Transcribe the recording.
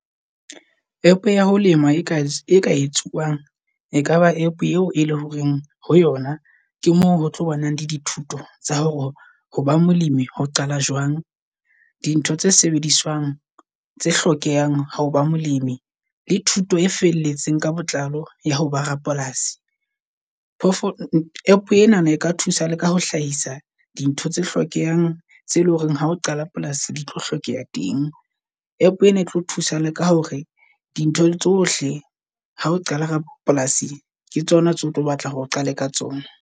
App ya ho lema e ka e ka etsuwang e kaba app eo e leng horeng ho yona ke mo hotlo banang le di thuto tsa hore hoba molemi ho qala jwang. Dintho tse sebediswang tse hlokehang hao ba molemi la thuto e felletseng ka botlalo ya hoba Rapolasi. App e nana e ka thusa leka ho hlahisa dintho tse hlokehang tse e leng hore ha o qala polasi ditlo hlokeha teng. App ena e tlo thusa leka hore di ntho tsohle ha o qala ka polasi ke tsona tseo otlo batla hore o qale ka tsona.